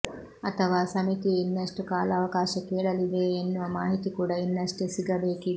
ಅಥವಾ ಸಮಿತಿಯು ಇನ್ನಷ್ಟು ಕಾಲಾವಕಾಶ ಕೇಳಲಿದೆಯೇ ಎನ್ನುವ ಮಾಹಿತಿ ಕೂಡ ಇನ್ನಷ್ಟೇ ಸಿಗಬೇಕಿದೆ